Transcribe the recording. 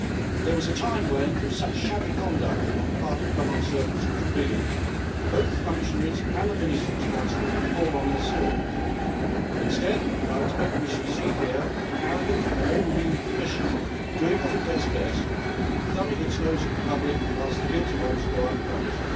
There was a time when, if such shabby conduct on the part of public servants was revealed, both functionaries and the minister responsible would fall on their swords. Instead, I expect we shall see here an arrogant and overweening Commission doing what it does best, thumbing its nose at the public whilst the guilty ones go unpunished.